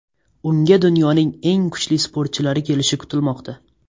Unga dunyoning eng kuchli sportchilari kelishi kutilmoqda.